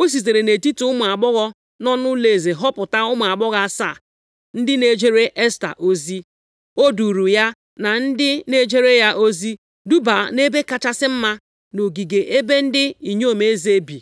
O sitere nʼetiti ụmụ agbọghọ nọ nʼụlọeze họpụta ụmụ agbọghọ asaa ndị na-ejere Esta ozi. O duuru ya na ndị na-ejere ya ozi dubaa nʼebe kachasị mma nʼogige ebe ndị inyom eze bi.